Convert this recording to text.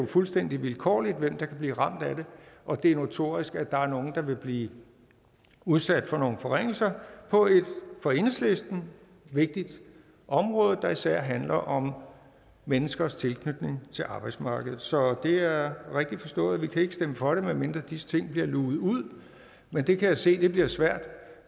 fuldstændig vilkårligt hvem der kan blive ramt af det og det er notorisk at der er nogle der vil blive udsat for nogle forringelser på et for enhedslisten vigtigt område der især handler om menneskers tilknytning til arbejdsmarkedet så det er rigtigt forstået vi kan stemme for det medmindre disse ting bliver luget ud men det kan jeg se bliver svært